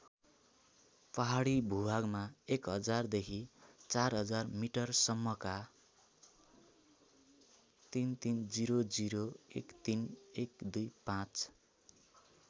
पहाडी भूभागमा १००० देखि ४००० मिटरसम्मका ३३००१३१२५